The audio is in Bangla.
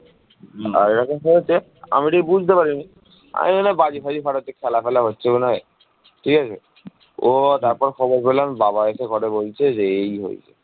বাংলা সমুদ্রগামী জাহাজ ও বস্ত্র শিল্পের জন্য বিখ্যাত ছিল